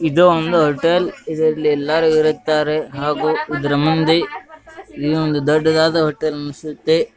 ಇದು ಒಂದು ಹೋಟೆಲ್ ಇದರಲ್ಲಿ ಎಲ್ಲಾರು ಇರುತ್ತಾರೆ ಹಾಗೂ ಇದರ ಮುಂದೆ ಇನ್ನು ಒಂದು ದೊಡ್ಡದಾದ ಹೋಟೆಲ್ ಅನಸುತ್ತೆ .